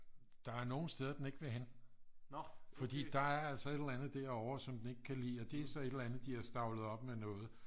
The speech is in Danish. der er nogen steder den ikke vil hen fordi der er altså et eller andet derovre som den ikke kan lide og det er så et eller andet de har stablet op med noget